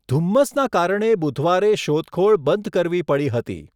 ધુમ્મસના કારણે બુધવારે શોધખોળ બંધ કરવી પડી હતી.